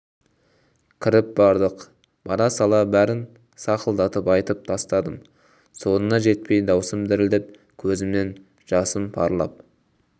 кіріп бардық бара сала брін сақылдатып айтып тастадым соңына жетпей даусым дірілдеп көзімнен жасым парлап